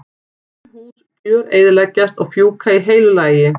Sum hús gjöreyðileggjast og fjúka í heilu lagi.